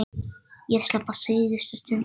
Ég slapp á síðustu stundu.